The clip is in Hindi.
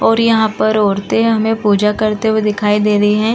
और यहां पर औरतें हमें पूजा करते हुए दिखाई दे रही हैं।